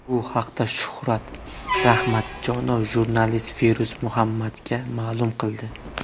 Bu haqda Shuhrat Rahmatjonov jurnalist Feruz Muhammadga ma’lum qildi.